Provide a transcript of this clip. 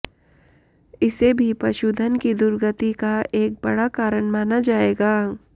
इसे भी पशुधन की दुर्गति का एक बड़ा कारण माना जाएगा